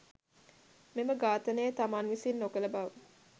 මෙම ඝාතනය තමන් විසින් නොකළ බව